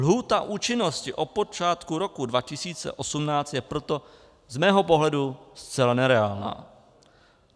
Lhůta účinnosti od počátku roku 2018 je proto z mého pohledu zcela nereálná.